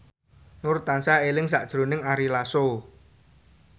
Nur tansah eling sakjroning Ari Lasso